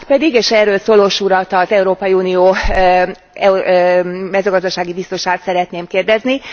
A másik pedig, és erről Cioloş urat, az Európai Unió mezőgazdasági biztosát szeretném kérdezni.